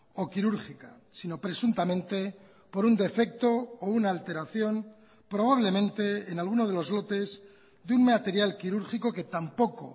o quirúrgica sino presuntamente por un defecto o una alteración probablemente en alguno de los lotes de un material quirúrgico que tampoco